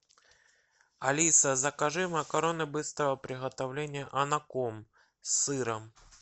алиса закажи макароны быстрого приготовления анаком с сыром